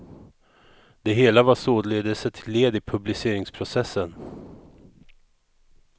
Det hela var således ett led i publiceringsprocessen.